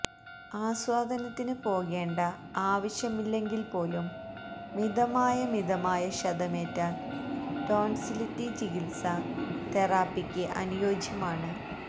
ആസ്വാദനത്തിന് പോകേണ്ട ആവശ്യമില്ലെങ്കിൽപ്പോലും മിതമായ മിതമായ ക്ഷതമേറ്റാൽ ടോൻസിലിറ്റി ചികിത്സ തെറാപ്പിക്ക് അനുയോജ്യമാണ്